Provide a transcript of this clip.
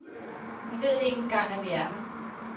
Hun ved ikke engang at vi er her.